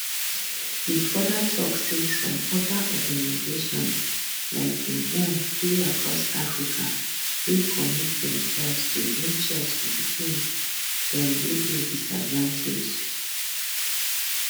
e further tok say some oda organisations like im own dey across africa wey commit demselves to bring chess to pikin dem wey dey disadvantaged